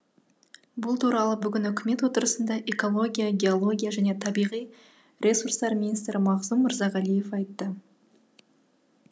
бұл туралы бүгін үкімет отырысында экология геология және табиғи ресурстар министрі мағзұм мырзағалиев айтты